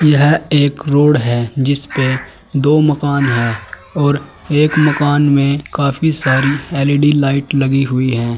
यह एक रोड है जिस पे दो मकान है और एक मकान में काफी सारी एल_इ_डी लाइट लगी हुई है।